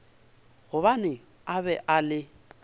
gobane a be a le